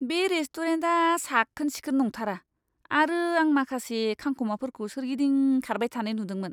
बे रेस्टुरेन्टआ साखोन सिखोन नंथारा आरो आं माखासे खांख'माफोरखौ सोरगिदिं खारबाय थानाय नुदोंमोन।